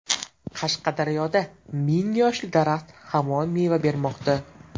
Qashqadaryoda ming yoshli daraxt hamon meva bermoqda.